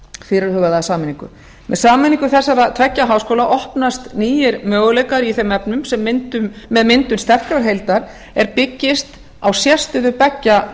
fyrirhugaða sameiningu með sameiningu þessara tveggja háskóla opnast nýir möguleikar í þeim efnum með myndun sterkrar heildar er byggist á sérstöðu beggja